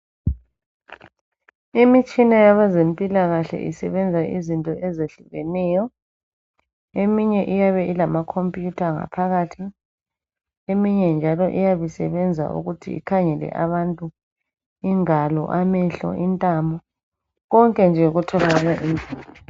Imitshina yabezempilakahle isebenza izinto ezehlukeneyo. Eminye iyabe ilama computer ngaphakathi, eminye njalo iyab' isebenza ukuthi ikhangele abantu ingalo, amehlo, intamo, konke nje okutholakala